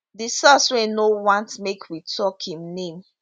di source wey no want make we tok im name